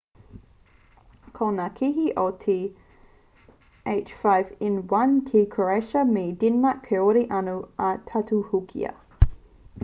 ko ngā kēhi o te h5n1 ki croatia me denmark kāore anō i tautohukia